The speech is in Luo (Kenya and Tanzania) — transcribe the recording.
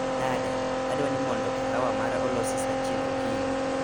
Nade? Adwani mondo kahawa mara olosi saa achiel okinyi